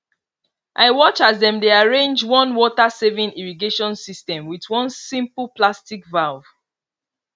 i watch as dem dey arrange one watersaving irrigation system with one simple plastic valve